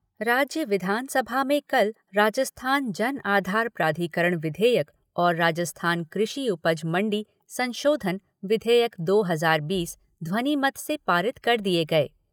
राज्य विधानसभा में कल राजस्थान जन आधार प्राधिकरण विधेयक और राजस्थान कृषि उपज मण्डी संशोधन विधेयक, दो हजार बीस ध्वनिमत से पारित कर दिए गए।